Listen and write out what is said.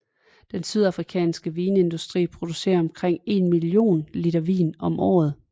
Den sydafrikanske vinindustri producerer omkring en million liter vin om året